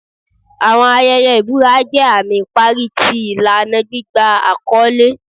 Awọn ayẹyẹ ibura jẹ ami ipari ti ilana gbigba akọle